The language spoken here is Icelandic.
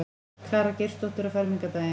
Klara Geirsdóttir á fermingardaginn.